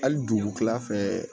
Hali dugu kila fɛ